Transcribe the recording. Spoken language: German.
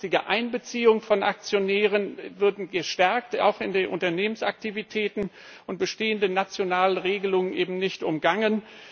Die langfristige Einbeziehung von Aktionären würde gestärkt auch in den Unternehmensaktivitäten und bestehende nationale Regelungen würden eben nicht umgangen.